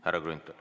Härra Grünthal.